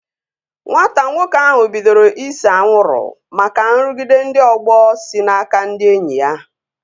Nwata nwoke ahụ bidoro ise anwụrụ maka nrụgide ndị ọgbọ si n'aka ndị enyi ya